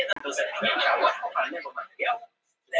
Ég heyrði ekki betur en hann þekkti alla Evrópu eins og lófann á sér.